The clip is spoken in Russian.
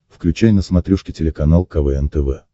включай на смотрешке телеканал квн тв